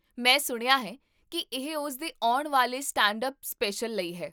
ਮੈਂ ਸੁਣਿਆ ਹੈ ਕਿ ਇਹ ਉਸ ਦੇ ਆਉਣ ਵਾਲੇ ਸਟੈਂਡ ਅੱਪ ਸਪੈਸ਼ਲ ਲਈ ਹੈ